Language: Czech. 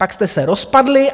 Pak jste se rozpadli.